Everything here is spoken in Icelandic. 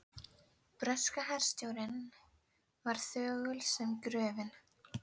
Breska herstjórnin var þögul sem gröfin.